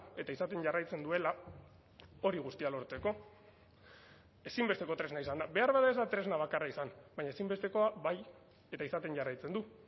eta izaten jarraitzen duela hori guztia lortzeko ezinbesteko tresna izan da beharbada ez da tresna bakarra izan baina ezinbestekoa bai eta izaten jarraitzen du